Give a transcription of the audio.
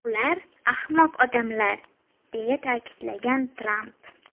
Ular ahmoq odamlar”, deya ta’kidlagan Tramp.